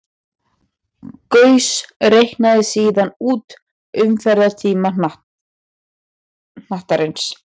Gauss reiknaði síðan út umferðartíma hnattarins.